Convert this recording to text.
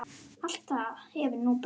Allt það hefur nú breyst.